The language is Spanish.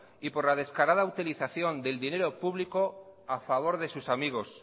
y por la descarada utilización del dinero público a favor de sus amigos